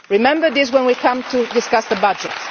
it. Remember this when we come to discuss the budget.